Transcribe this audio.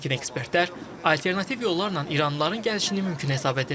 Lakin ekspertlər alternativ yollarla iranlıların gəlişini mümkün hesab edir.